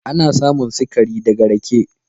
Ana samun sikari da ga rake.